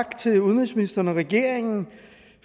tak til udenrigsministeren og regeringen